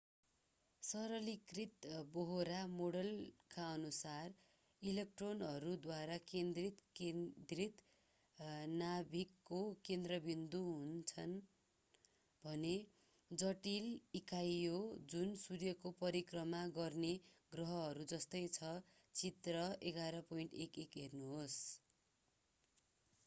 सरलीकृत बोहरा मोडेलकाअनुसार इलेक्ट्रोनहरू द्वारा केन्द्रित केन्द्रीय नाभिकको केन्द्रबिन्दु हुन्छ भन्ने जटिल इकाइहो जुन सूर्यको परिक्रमा गर्ने ग्रहहरू जस्तै छ चित्र 11.11 हेर्नुहोस्